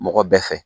Mɔgɔ bɛɛ fɛ